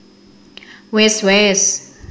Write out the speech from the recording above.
Wis wés